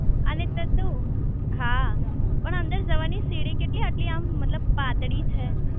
અને તું તું હા પણ અંદર જવાની સીડી કેટલી આટલી આમ મતલબ પાતળી છે